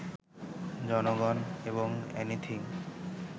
জনগণ এবং অ্যানিথিং